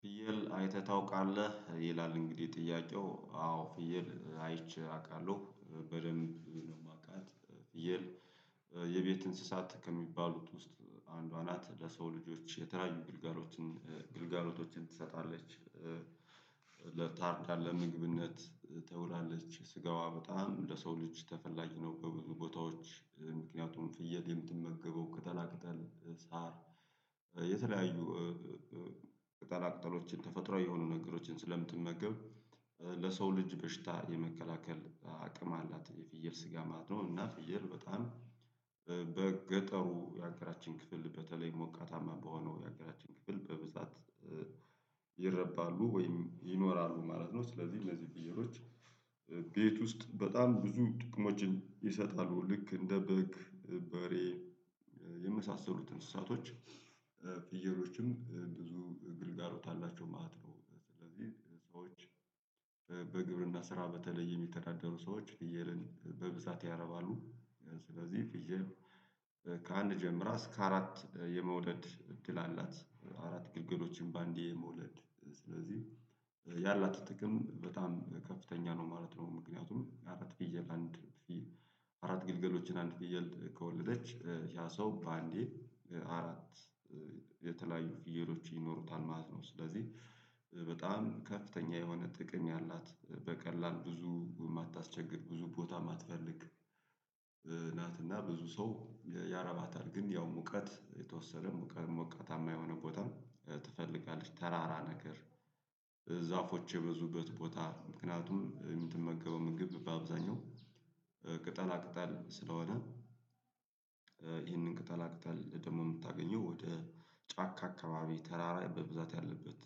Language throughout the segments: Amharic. ፍየል አይተህ ታውቃለህ? ይላል እንግዲህ ጥያቄው አዎ ፍየል አይቼ አውቃለሁ በደንብ ነው የማውቃት ፍየል የቤት እንስሳት ከሚባሉት ውስጥ አንዷ ናት ለሰው ልጆች የተለያዩ ግልጋሎችን ግልጋሎቶችን ትሰጣለች። ለታርዳ ለምግብነት ትወላለች ስጋዋ በጣም ለሰው ልጅ ተፈላጊ ነው። በብዙ ቦታዎች ምክንያቱም ፍየል የምትመገበው ቅጠላ ቅጠል ሳር የተለያዩ ቅጠላ ቅጠሎችን ተፈጥሮ የሆኑ ነገሮችን ስለምትመገብ ለሰው ልጅ በሽታ የመከላከል አቅም አላት። የፍየል ስጋ ማለት ነው። እና ፍየል በጣም በገጠሩ የሀገራችን ክፍል በተለይ ሞቃታማ በሆነው የሀገራችን ክፍል በብዛት ይረባሉ ወይም ይኖራሉ ማለት ነው። ስለዚህ እነዚህ ፍየሎች ቤት ውስጥ በጣም ብዙ ጥቅሞችን ይሰጣሉ ልክ እንደ በግ በሬ የመሳሰሉት እንስሳቶች ፍየሎችም ብዙ ግልጋሎት አላቸው ማለት ነው። ስለዚህ ሰዎች በግብርና ስራ በተለየ የሚተዳደሩ ሰዎች ፍየልን በብዛት ያረባሉ። ስለዚህ ፍየል ከአንድ ጀምራ እስከ አራት የመውለድ እድል አላት። አራት ግልገሎችን በአንዴ የመውለድ ስለዚህ ያላት ጥቅም በጣም ከፍተኛ ነው ማለት ነው። ምክንያቱም አራት ፍየል አንድ አራት ግልገሎችን አንድ ግድግል ከወለደች ያ ሰው በአንዴ አራት የተለያዩ ፍየሎች ይኖሩታል ማለት ነው። ስለዚህ በጣም ከፍተኛ የሆነ ጥቅም ያላት በቀላል ብዙ የማታስቸግር ብዙ ቦታ ማትፈልግ ናት። እና ብዙ ሰው ያረባታል ግን ያው ሙቀት የተወሰነ ሙቀት ሞቃታማ የሆነ ቦታ ትፈልጋለች። ተራራ ነገር ዛፎች የበዙበት ቦታ ምክንያቱም የምትመገበው ምግብ በአብዛኛው ቅጠላ ቅጠል ስለሆነ። ይሄን ቅጠላ ቅጠል ደግሞ የምታገኘው ወደ ጫካ አካባቢ ተራራ በብዛት ያለበት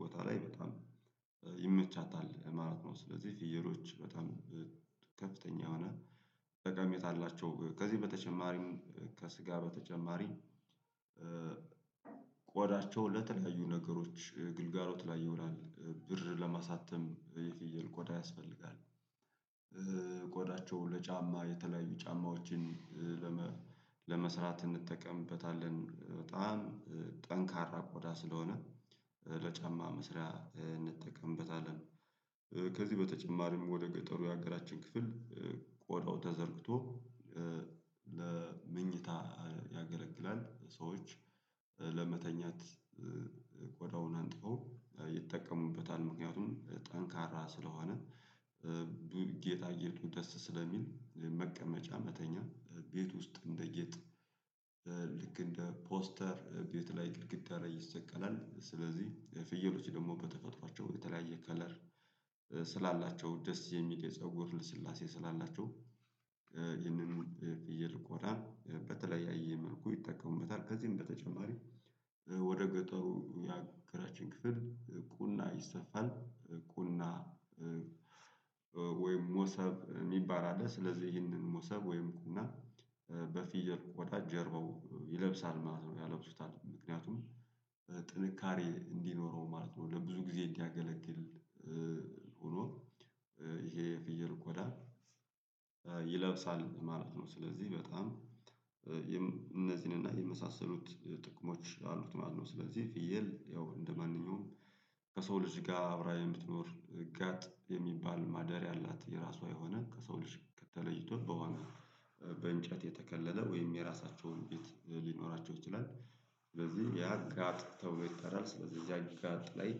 ቦታ ላይ በጣም ይመቻታል ለማለት ነው። ስለዚህ ፍየሎች በጣም ከፍተኛ ሆነ ጠቃሜታ አላቸው። ከዚህ በተጨማሪም ከስጋ በተጨማሪ ቆዳቸው ለተለያዩ ነገሮች ግልጋሎት ላይ ይውላል ብር ለማሳተም የፍየል ቆዳ ያስፈልጋል። ቆዳቸው ለጫማ የተለያዩ ጫማዎችን ለመስራት እንጠቀምበታለን በጣም ጠንካራ ኮዳ ስለሆነ ለጫማ መስሪያ እንጠቀምበታለን። ከዚህ በተጨማሪም ወደ ገጠሩ የሀገራችን ክፍል ቆዳው ተዘርግቶ ለመኝታ ያገለግላል። ሰዎች ለመተኛት ቆዳውን አጥበው ይጠቀሙበታል ምክንያቱም ጠንካራ ስለሆነ። ጌጣጌጡ ደስ ስለሚል የመቀመጫ መተኛ ቤት ውስጥ እንደ ጌጥ ልክ እንደ ፖስተር ቤት ላይ ግድግዳ ላይ ይሰቀላል። ስለዚህ ፍየሎች ደግሞ በተፈጥሯቸው የተለያየ ከለር ስላላቸው ደስ የሚል የፀጉር ልስላሴ ስላላቸው ይህንን ፍየል ቆዳ በተለያየ መልኩ ይጠቀሙበታል። ከዚህም በተጨማሪ ወደ ገጠሩ የሀገራችን ክፍል ቁና ይሰፋል ቁና ወይም ሞሰብ የሚባል አለ። ስለዚህ ይህንን ሞሰብ ወይም ቁና በፊየል ቆዳው ጀርባው ይለብሳል ማለት ነው ያላብሱታል ምክንያቱም ጥንካሬ እንዲኖረው ማለት ነው ለብዙ ጊዜ እንዲያገለግል ሆኖ ይሄ የፍየል ቆዳ ይለብሳል ማለት ነው። ስለዚህ በጣም እነዚህን እና የመሳሰሉት ጥቅሞች አሉት ማለት ነው። ስለዚህ ፍየል ያው እንደማንኛውም ከሰው ልጅ ጋር አብራ የምትኖር ጋጥ የሚባል ማደሪያ አላት። የራሷ የሆነ ከሰው ልጅ ከተለይቶ በኋላ በእንጨት የተከለለ ወይም የራሳቸውን ቤት ሊኖራቸው ይችላል። ስለዚህ ያጋጥ ተብሎ ይጠራል ስለዚህ እዚያ ጋጥ ላይ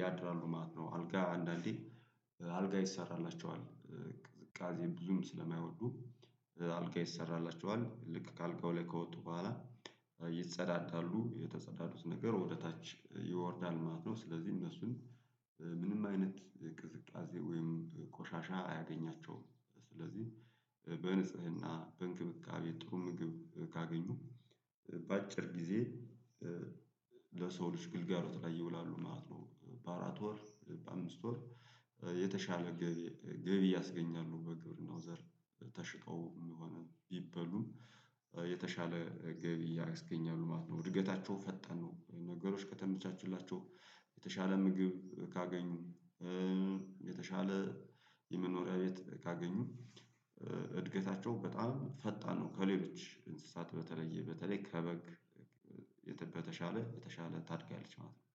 ያድራሉ ማለት ነው። አልጋ አንዳንዴ አልጋ ይሰራላቸዋል ቅዝቃዜ ብዙም ስለማይወዱ አልጋ ይሰራቸዋል ልክ ከአልጋው ላይ ከወጡ በኋላ ይጸዳዳሉ የተጸዳሉት ነገር ወደታች ይወርዳል ማለት ነው። ስለዚህ እነሱን ምንም አይነት ቅዝቃዜ ወይም ቆሻሻ አያገኛቸውም። ስለዚህ በንጽህና በእንክብካቤ ጥሩ ምግብ ካገኙ በአጭር ጊዜ ለሰው ልጅ ግልጋሎት ላይ ይውላሉ ማለት ነው። በአራት ወር በአምስት ወር የተሻለ ገቢ ገቢ ያስገኛሉ። በግብርናው ዘርፍ ተሽጠው የሚሆነው ይበሉ የተሻለ ገቢ ያስገኛሉ ማለት ነው። እድገታቸው ፈጠን ነው ነገሮች ከተመቻቹላቸው የተሻለ ምግብ ካገኙ የተሻለ የመኖሪያ ቤት ካገኙ እድገታቸው በጣም ፈጣን ነው። ከሌሎች እንስሳት በተለየ በተለይ ከበግ የተበተሻለ በተሻለ ታድጋለች ማለት ነው።